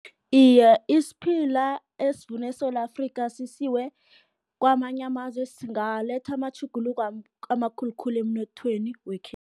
Iye, isiphila esivunwe eSewula Afrika, sisiwe kwamanye amazwe, singaletha amatjhuguluko amakhulukhulu emnothweni wekhethu.